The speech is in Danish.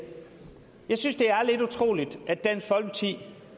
jeg synes det er lidt utroligt at dansk folkeparti